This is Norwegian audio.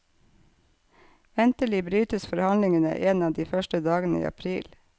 Ventelig brytes forhandlingene en av de første dagene i april.